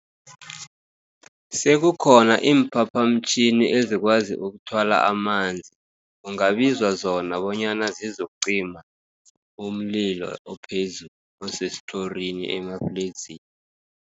Sekukhona iimphaphamtjhini ezikwazi ukuthwala amanzi, kungabizwa zona bonyana zizokucima, umlilo ophezulu osesitlhorini emafledzini.